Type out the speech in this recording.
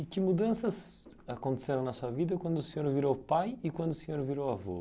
E que mudanças aconteceram na sua vida quando o senhor virou pai e quando o senhor virou avô?